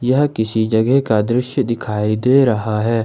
यह किसी जगह का दृश्य दिखाई दे रहा है।